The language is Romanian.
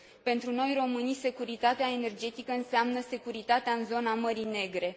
Pentru noi, românii, securitatea energetică înseamnă securitatea în zona Mării Negre.